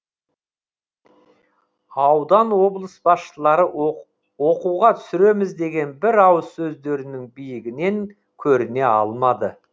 аудан облыс басшылары оқуға түсіреміз деген бір ауыз сөздерінің биігінен көріне алмады